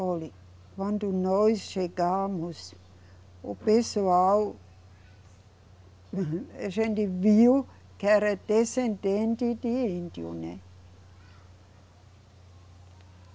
Olhe, quando nós chegamos, o pessoal. A gente viu que era descendente de índio, né.